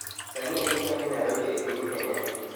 Sani en sa adi narobi epiny kenya